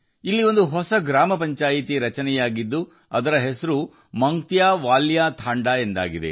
ಅಲ್ಲಿ ಹೊಸ ಗ್ರಾಮ ಪಂಚಾಯಿತಿ ರಚನೆಯಾಗಿದ್ದು ಅದಕ್ಕೆ ಮಾಂಗ್ತ್ಯಾವಾಲ್ಯ ತಾಂಡಾ ಎಂದು ಹೆಸರಿಡಲಾಗಿದೆ